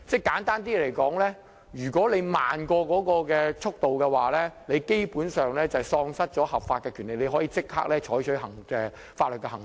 簡單來說，如果速度慢於政府所規定的水平，便等於喪失合法權利，可以立即採取法律行動。